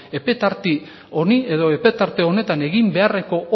epe tarte honi edo epe tarte honetan egin beharreko